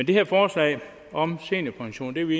det her forslag om seniorpension er vi